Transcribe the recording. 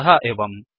अतः एवम्